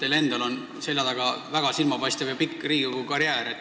Teil endal on seljataga väga silmapaistev ja pikk Riigikogu karjäär.